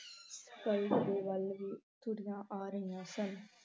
ਦੇ ਵੱਲ ਵੀ ਤੁਰੀਆਂ ਆ ਰਹੀਆਂ ਸਨ।